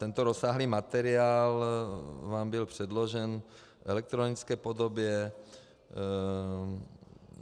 Tento rozsáhlý materiál vám byl předložen v elektronické podobě.